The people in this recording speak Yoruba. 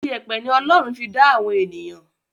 ìyẹ̀pẹ̀ ni Ọlọ́run fi dá àwọn ènìyàn.